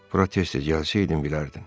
Protes tez-tez gəlsəydin bilərdin.